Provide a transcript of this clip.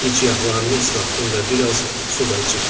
Gicgahlarını islatdım və biraz su da içirtdim.